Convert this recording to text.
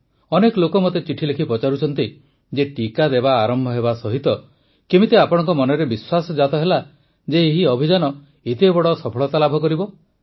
ଅନେକ ଲୋକ ମୋତେ ଚିଠି ଲେଖି ପଚାରୁଛନ୍ତି ଯେ ଟିକା ଦେବା ଆରମ୍ଭ ହେବା ସହିତ କେମିତି ଆପଣଙ୍କ ମନରେ ବିଶ୍ୱାସ ଜାତ ହେଲା ଯେ ଏହି ଅଭିଯାନ ଏତେ ବଡ଼ ସଫଳତା ଲାଭ କରିବ